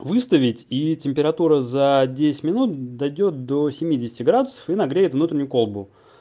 выставить и температура за десять минут дойдёт до семидесяти градусов и нагреет внутреннюю колбу